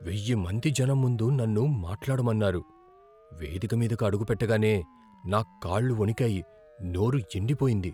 వెయ్యి మంది జనం ముందు నన్ను మాట్లాడమన్నారు. వేదిక మీదకు అడుగుపెట్టగానే నా కాళ్లు వణికాయి, నోరు ఎండిపోయింది.